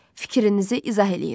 Fikrinizi izah eləyin.